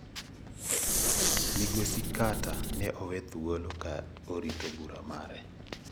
Migosi Carter ne owe thuolo ka orito bura mare.